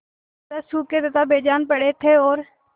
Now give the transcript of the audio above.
तरह सूखे तथा बेजान पड़े थे और